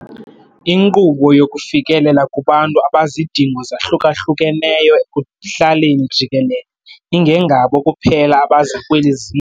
Inkqubo yokufikelela kubantu abazidingo zahlukahlukeneyo ekuhlaleni jikelele, ingengabo kuphela abaza kweli.